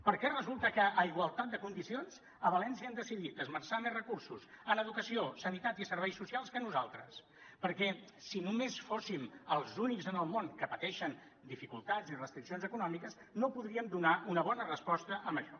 per què resulta que a igualtat de condicions a valència han decidit esmerçar més recursos en educació sanitat i serveis socials que nosaltres perquè si només fóssim els únics en el món que pateixen dificultats i restriccions econòmiques no podríem donar una bona resposta a això